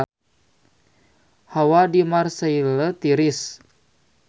Hawa di Marseille tiris